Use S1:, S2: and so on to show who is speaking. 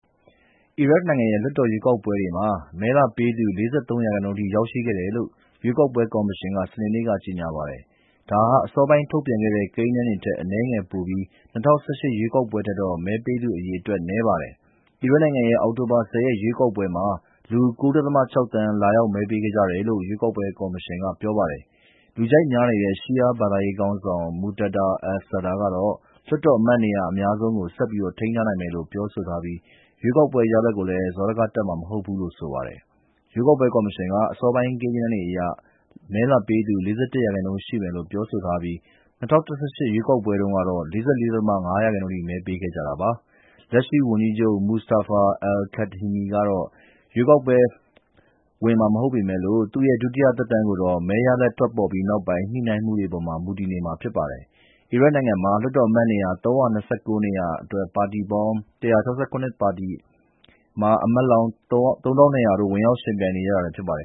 S1: အီရတ်နိုင်ငံရဲ့ လွှတ်တော်ရွေးကောက်ပွဲတွေမှာ မဲလာပေးသူ ၄၃ ရာခိုင်နှုန်းအထိ ရောက်ရှိခဲ့တယ်လို့ ရွေးကောက်ပွဲကော်မရှင်က စနေနေ့က ကြေညာပါတယ်။ ဒါဟာ အစောပိုင်းထုတ်ပြန်တဲ့ ကိန်းဂဏန်းတွေထက် အနည်းငယ်ပိုပြီး ၂၀၁၈ ရွေးကောက်ပွဲထက်တော့ မဲပေးသူအရေအတွက် နည်းပါတယ်။ အီရတ်နိုင်ငံရဲ့ အောက်တိုဘာ ၁၀ ရွေးကောက်ပွဲမှာ လူ ၉.၆ သန်း လာရောက်မဲပေးခဲ့ကြတယ်လို့ ရွေးကောက်ပွဲကော်မရှင်က ပြောပါတယ်။ လူကြိုက်များနေတဲ့ ရှီးယားဘာသာရေးခေါင်းဆောင် Moqtada al-Sadr ကတော့ လွှတ်တော်အမတ်နေရာ အများဆုံးကို ဆက်ထိန်းထားနိုင်မယ်လို့ ပြောဆိုထားပြီး ရွေးကောက်ပွဲရလဒ်ကိုလည်း စောဒကတက်မှာ မဟုတ်ဘူးလို့ ဆိုပါတယ်။ ရွေးကောက်ပွဲကော်မရှင်က အစောပိုင်း ကိန်းဂဏန်းတွေအရ မဲလာပေးသူ ၄၁ ရာခိုင်နှုန်းရှိမယ်လို့ ပြောဆိုထားပြီး ၂၀၁၈ ရွေးကောက်ပွဲတုန်းကတော့ ၄၄.၅ ရာခိုင်နှုန်းအထိ မဲပေးခဲ့ကြတာပါ။ လက်ရှိဝန်ကြီးချုပ် Mustafa al-kadhimi ကတော့ ပြန်ပြီး ရွေးကောက်ပွဲဝင်မှာ မဟုတ်ပေမယ့်လို့ သူ့ရဲ့ ဒုတိယသက်တမ်းကိုတော့ မဲရလဒ်တွေ ထွက်ပေါ်ပြီး ညှိနှိုင်းမှုတွေအပေါ် မူတည်နေမှာ ဖြစ်ပါတယ်။ အီရတ်နိုင်ငံမှာ လွှတ်တော်အမတ်နေရာ ၃၂၉ နေရာအတွက် ပါတီပေါင်း ၁၆၇ ပါတီက အမတ်လောင်း ၃,၂၀၀ တို့ ဝင်ရောက်ယှဉ်ပြိုင်နေကြတာလည်း ဖြစ်ပါတယ်